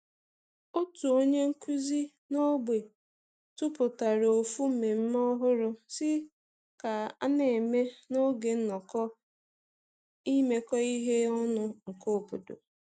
Otu onye nkuzi n'ogbe tupụtara ofu mmemme ọhụrụ si ka a n'eme n'oge nnọkọ imekọ ihe ọnụ nke obodo.